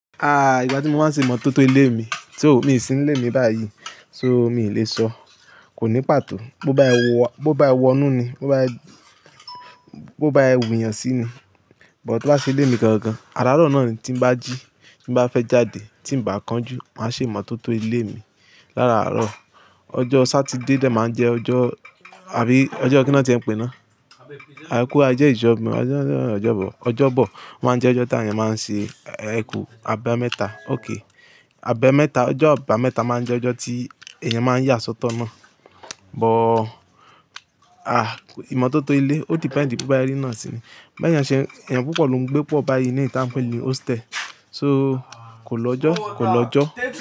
Ah, ìgbà tí mo máa ń ṣe ìmọ̀tótó ilé mi, to, mi ò sí ní ilé mi báyìí. So mi ò lè sọ. Kò ní pàtó. Bo bá e wo, bo bá e wọnú ni, bo bá e, bo bá e wùyàn sí ni. But tí bá ṣe ilé mi gangan, aráarọ̀ náà ni tí ń bá jí, tí ń bá fẹ́ jáde, tí ń bá kan jú, màá ṣe ìmọ̀tótó ilé mi. Lárarọ. Ojo Saturday dà máa ń jẹ́ ọjọ́, àbí ọjọ́ kí ná tí ẹ ń pè ná? Ẹ kú a jẹ́ ìjọba, ọjọ́ ìbọ̀, ọjọ́ ìbọ̀ máa ń jẹ́ ọjọ́ tí àwọn èèyàn máa ń ṣe eku. Abe mẹ́ta. Okay. Abe mẹ́ta, ọjọ́ àbámẹ́ta máa ń jẹ́ ọjọ́ tí èèyàn máa ń yà sọ́tọ̀ náà. But, ah, ìmọ̀tótó ilé, o ti depend tí bó bá rí iná sí i ni. Bí èèyàn ṣe, èèyàn púpọ̀ ló ń gbé pọ̀ báyìí ní ìta ń pè ní hostel. So kò lọ́jọ́, kò lọ́jọ́